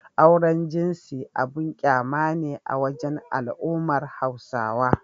Auren jinsi abun ƙyama ne a wajen al'ummar Hausawa.